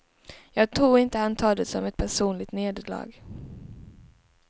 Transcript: Jag tror inte han tar det som ett personligt nederlag.